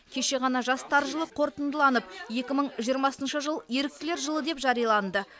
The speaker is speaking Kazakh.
кеше ғана жастар жылы қорытындыланып екі мың жиырмасыншы жыл еріктілер жылы деп жарияланды